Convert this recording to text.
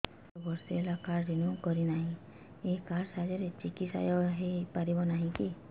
ମୋର ବର୍ଷେ ହେଲା କାର୍ଡ ରିନିଓ କରିନାହିଁ ଏହି କାର୍ଡ ସାହାଯ୍ୟରେ ଚିକିସୟା ହୈ ପାରିବନାହିଁ କି